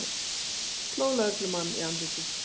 Sló lögreglumann í andlitið